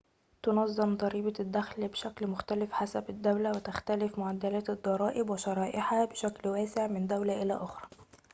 تُنظَّم ضريبة الدخل بشكل مختلف حسب الدولة وتختلف معدلات الضرائب وشرائحها بشكلٍ واسع من دولة إلى أخرى